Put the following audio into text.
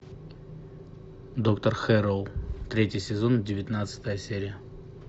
доктор хэрроу третий сезон девятнадцатая серия